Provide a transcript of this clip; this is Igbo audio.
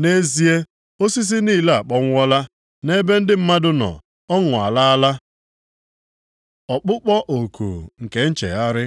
Nʼezie, osisi niile akpọnwụọla. Nʼebe ndị mmadụ nọ, ọṅụ alala. Ọkpụkpọ oku maka nchegharị